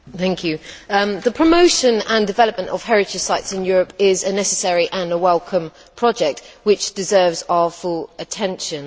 Mr President, the promotion and development of heritage sites in Europe is a necessary and welcome project which deserves our full attention.